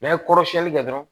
N'a ye kɔrɔ siyɛli kɛ dɔrɔn